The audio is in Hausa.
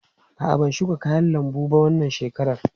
A'a, ban shuka kayan lambu ba wannan shekarar.